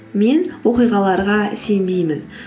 мен оқиғаларға сенбеймін